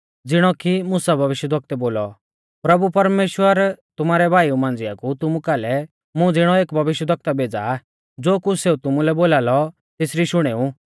ज़िणौ कि मुसा भविष्यवक्तै बोलौ प्रभु परमेश्‍वर तुमारै भाईऊ मांझ़िआ कु तुमु कालै मुं ज़िणौ एक भविष्यवक्ता भेज़ा आ ज़ो कुछ़ सेऊ तुमुलै बोलालौ तेसरी शुणेऊ